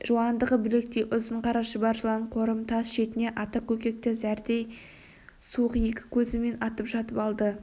жуандығы білектей ұзын қара шұбар жылан қорым тас шетінде ата көкекті зәрдей суық екі көзімен атып жатып алды